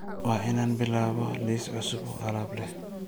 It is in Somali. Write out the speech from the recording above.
Waa inaan bilaabo liis cusub oo aalab aah.